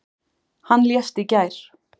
Hann lést í gær.